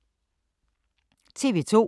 TV 2